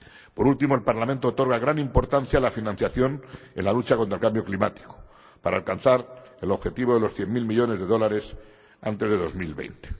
Por último, el Parlamento otorga gran importancia a la financiación en la lucha contra cambio climático para alcanzar el objetivo de los cien mil millones de dólares antes de 2020.